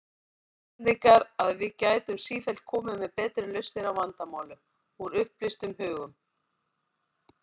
Íslendingar, að við gætum sífellt komið með betri lausnir á vandamálum, úr upplýstum hugum.